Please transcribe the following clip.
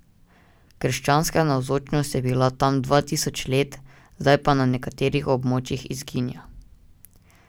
Krščanska navzočnost je bila tam dva tisoč let, zdaj pa na nekaterih območjih izginja.